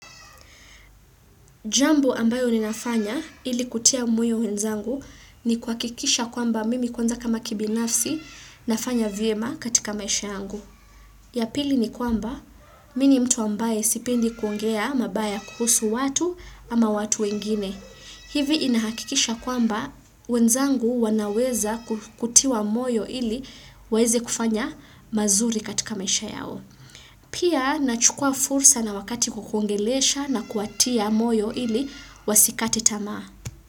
Jambo ambayo ninafanya ili kutia moyo wenzangu ni kuhakikisha kwamba mimi kwanza kama kibinafsi nafanya vyema katika maisha yangu. Ya pili ni kwamba mi ni mtu ambaye sipendi kuongea mabaya kuhusu watu ama watu wengine. Hivi inahakikisha kwamba wenzangu wanaweza kutiwa moyo ili waeze kufanya mazuri katika maisha yao. Pia, nachukua fursa na wakati kukuongelesha na kuwatia moyo ili wasikati tamaa.